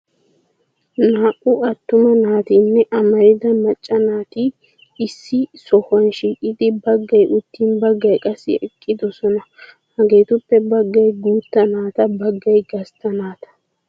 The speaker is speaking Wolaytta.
Naa"u attuma naatinne amarida macca naati issi sohuwa shiiqidi baggay uttin baggay qassi eqqidosona. Hageetuppe baggay guutta naata baggay gastta naata.